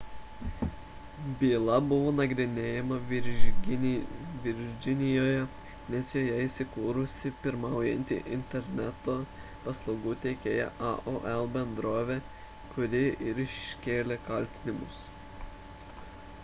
byla buvo nagrinėjama virdžinijoje nes joje įsikūrusi pirmaujanti interneto paslaugų teikėja aol – bendrovė kuri ir iškėlė kaltinimus